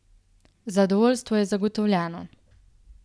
Zadovoljstvo je zagotovljeno!